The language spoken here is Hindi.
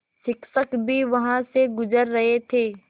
शिक्षक भी वहाँ से गुज़र रहे थे